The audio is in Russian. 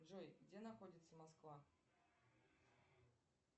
джой где находится москва